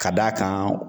Ka d'a kan